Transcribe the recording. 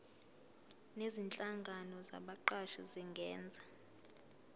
nezinhlangano zabaqashi zingenza